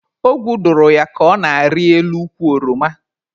Ogwu dụrụ ya ka ọ na-arị elu ukwu oroma.